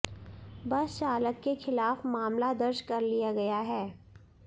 बस चालक के खिलाफ मामला दर्ज कर लिया गया है